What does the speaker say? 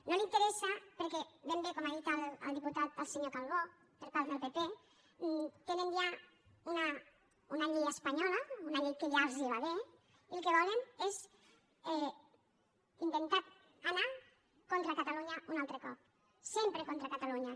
no li interessa perquè ben bé com ha dit el diputat el senyor calbó per part del pp tenen ja una llei espanyola una llei que ja els va bé i el que volen és intentar anar contra catalunya un altre cop sempre contra catalunya